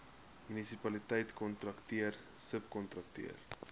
munisipaliteit kontrakteur subkontrakteur